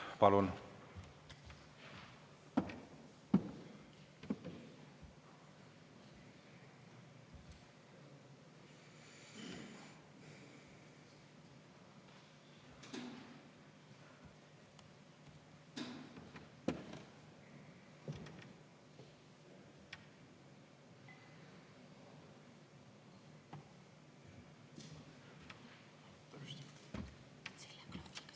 Palun!